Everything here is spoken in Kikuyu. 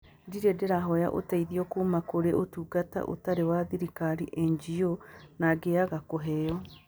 Ndirĩ ndĩrahoya ũteithio kuuma kũrĩ Ũtungata Ũtarĩ wa Thirikari (NGO) na ngĩaga kũheo.